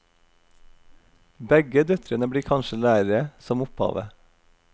Begge døtrene blir kanskje lærere, som opphavet.